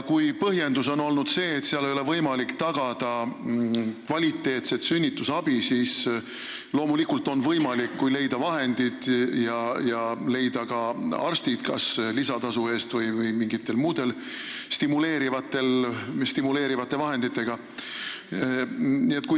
Kui põhjendus on olnud see, et seal ei ole võimalik tagada kvaliteetset sünnitusabi, siis võib öelda, et loomulikult on see võimalik, kui leida vahendid ja leida ka arstid kas lisatasu eest või mingite muude stimuleerivate vahendite abil.